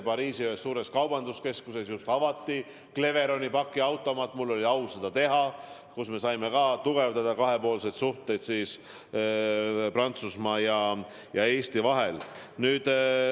Pariisi ühes suures kaubanduskeskuses avati siis Cleveroni pakiautomaat – mul oli au seda teha – ning nii me saime tugevdada kahepoolseid suhteid Prantsusmaa ja Eesti vahel.